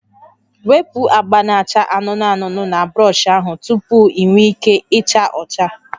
Wepu agba na-acha anụnụ anụnụ na brọsh ahụ tupu ị nwee ike ịcha ọcha